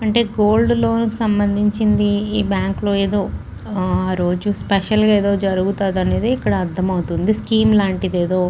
అంటే గోల్డ్ లోనికి సంబందించింది. ఈ బ్యాంకు లో ఏదో రోజు స్పెషల్ గా ఏదో జరుగుతాదనేది అర్థమవుతుంది. స్కీం లాంటిదేదో--